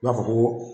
I b'a fɔ ko